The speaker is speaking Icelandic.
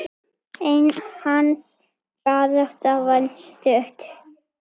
Hans barátta var stutt.